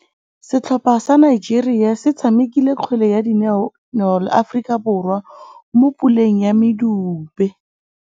Setlhopha sa Nigeria se tshamekile kgwele ya dinaô le Aforika Borwa mo puleng ya medupe.